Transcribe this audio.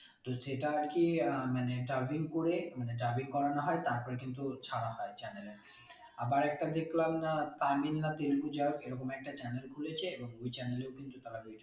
তো সেটা আরকি আহ মানে dubbing করে মানে dubbing করানো হয় তারপর কিন্তু ছাড়া হয় channel এ আবার একটা দেখলাম না তামিল না তেলেগু যাইহোক এরকম একটা channel খুলেছে এবং ওই channel এও কিন্তু তারা video বানাই